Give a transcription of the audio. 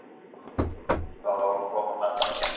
Það á að koma með það.